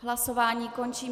Hlasování končím.